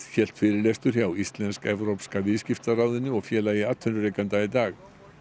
hélt fyrirlestur hjá Íslensk evrópska viðskiptaráðinu og Félagi atvinnurekenda í dag